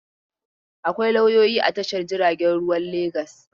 Akwai lauyoyi a Tashar jiaragen ruwan Legas.